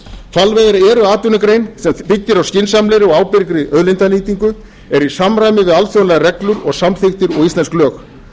hvalveiðar eru atvinnugrein sem byggir á skynsamlegri og ábyrgri auðlindanýtingu eru í samræmi við alþjóðlegar reglur og samþykktir og íslensk lög